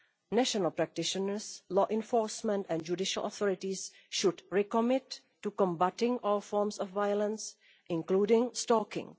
National practitioners, law enforcement and judicial authorities should recommit to combating all forms of violence, including stalking.